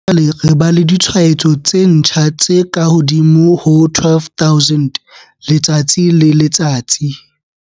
Ha jwale re ba le ditshwaetso tse ntjha tse kahodimo ho 12 000 letsatsi le letsatsi.